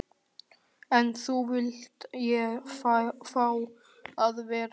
En nú vildi ég fá að vera einn.